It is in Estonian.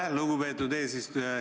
Aitäh, lugupeetud eesistuja!